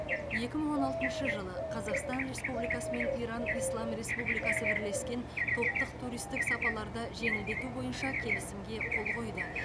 екі мың он алтыншы жылы қазақстан республикасы мен иран ислам республикасы бірлескен топтық туристік сапаларды жеңілдету бойынша келісімге қол қойды